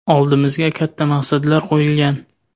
Oldimizga katta maqsadlar qo‘yilgan.